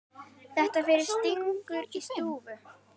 Þetta fyrir stingur í stúf.